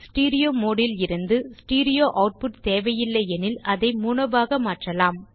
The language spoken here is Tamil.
ஸ்டீரியோ மோடு இல் இருந்து ஸ்டீரியோ ஆட்புட் தேவையில்லை எனில் அதை monoவாக மாற்றலாம்